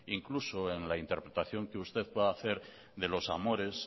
incluso en la interpelación que usted pueda hacer de los amores